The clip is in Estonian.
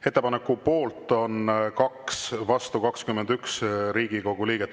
Ettepaneku poolt on 2, vastu 21 Riigikogu liiget.